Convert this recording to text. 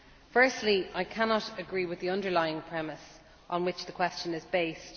Firstly, I cannot agree with the underlying premise on which the question is based.